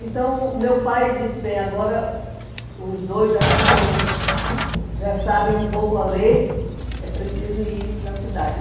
Então, meu pai disse bem, agora os dois já estão já sabem um pouco a ler, é preciso ir para a cidade.